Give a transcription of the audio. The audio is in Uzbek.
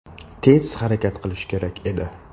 Tez harakat qilish kerak edi.